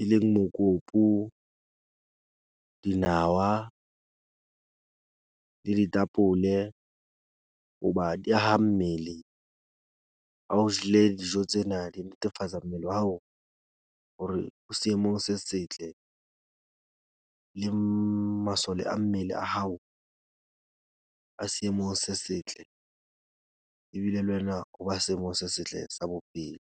e leng mokopu, dinawa le ditapole, hoba di haha mmele. Ha o jele dijo tsena di netefatsa mmele wa hao hore o seemong se setle le masole a mmele a hao, a seemong se setle. Ebile le wena o ba seemong se setle sa bophelo.